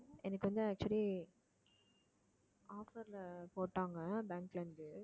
எனக்கு வந்து actually offer ல போட்டாங்க bank ல இருந்து